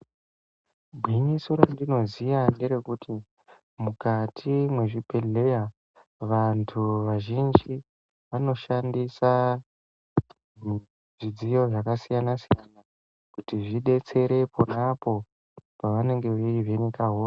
Gwinyiso randinoziya nderekuti mukati mwezvibhedhleya, vantu vazhinjj vanoshandisa zvidziyo zvakasiyana siyana kuti zvidetsere ponapo pavanenge veivheneka hosha.